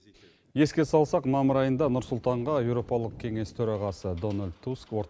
еске салсақ мамыр айында нұр сұлтанға еуропалық кеңес төрағасы дональд туск